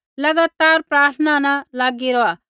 लगातार प्रार्थना न लागी रौहा